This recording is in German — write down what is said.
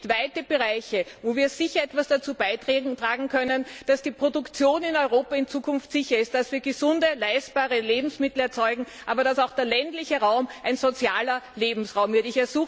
Es gibt weite Bereiche, wo wir sicher etwas dazu beitragen können, dass die Produktion in Europa in Zukunft sicher ist, dass wir gesunde, leistbare Lebensmittel erzeugen, dass aber auch der ländliche Raum ein sozialer Lebensraum wird.